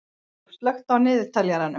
Aðólf, slökktu á niðurteljaranum.